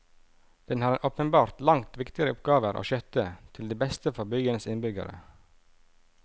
Den har åpenbart langt viktigere oppgaver å skjøtte til beste for byens innbyggere.